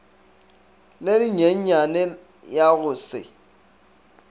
le lenyenyane ya go se